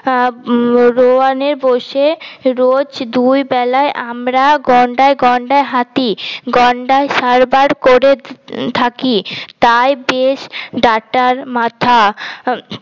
আহ রোয়ানে বসে রোজ দুই বেলা আমরা গন্ডায় গন্ডায় হাঁটি গন্ডা সাবার করে থাকি তাই বেশ ডাটার মাথা